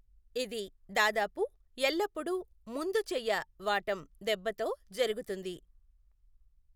ఇది దాదాపు ఎల్లప్పుడూ ముందుచెయ్య వాటం దెబ్బతో జరుగుతుంది.